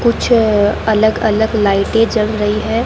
कुछ अलग अलग लाइटें जल रही है।